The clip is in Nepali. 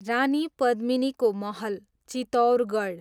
रानी पद्मिनीको महल, चित्तौरगढ